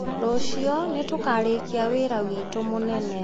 Rũciũ, nĩ tũkarĩkia wĩra witũ mũnene.